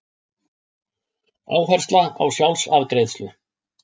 Áhersla á sjálfsafgreiðslu